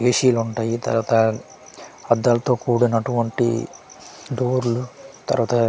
AC లు ఉంటాయి తరువాత అద్దలతో కుడినటు వంటి డోర్లు తరువాత .